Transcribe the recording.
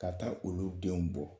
Ka taa olu denw bɔ